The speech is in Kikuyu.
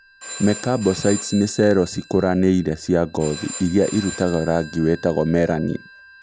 Mekabocytes ni cero ciikuranire cia ngothi iria irutaga rangi witagwo melanin